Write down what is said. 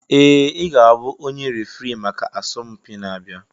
Ee! Ị ga-abụ onye referee maka asọmpi na-abịa.